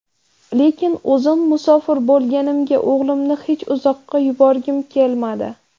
Lekin o‘zim musofir bo‘lganimga o‘g‘limni hech uzoqqa yuborgim kelmadi.